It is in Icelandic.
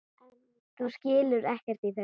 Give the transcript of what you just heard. Þú skilur ekkert í þessu.